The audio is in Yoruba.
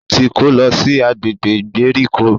O tí kò lọ si agbègbè ìgbèríko.